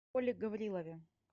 коле гаврилове